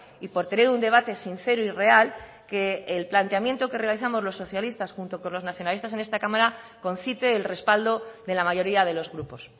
y por tener un debate sincero y real que el planteamiento que realizamos los socialistas junto con los nacionalistas en esta cámara concite el respaldo de la mayoría de los grupos